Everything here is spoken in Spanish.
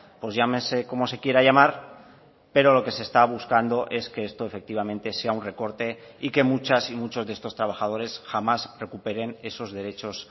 pues llámese como se quiera llamar pero lo que se está buscando es que esto efectivamente sea un recorte y que muchas y muchos de estos trabajadores jamás recuperen esos derechos